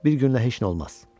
Bir günə heç nə olmaz.